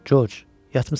Corc, yatmısan?